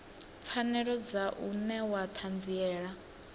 pfanelo dza u newa ṱhanziela